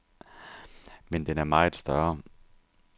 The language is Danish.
Men den er meget større.